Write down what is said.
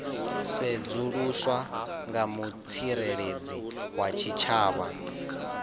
sedzuluswa nga mutsireledzi wa tshitshavha